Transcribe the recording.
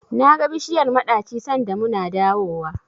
Naga bishiyar maɗaci sanda muna dawowa.